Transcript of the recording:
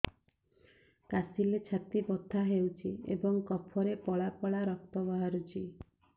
କାଶିଲେ ଛାତି ବଥା ହେଉଛି ଏବଂ କଫରେ ପଳା ପଳା ରକ୍ତ ବାହାରୁଚି